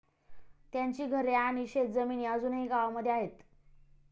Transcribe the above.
त्यांची घरे आणि शेत जमिनी अजूनही गावामध्ये आहेत.